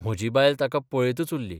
म्हजी बायल ताका पळयतच उरली....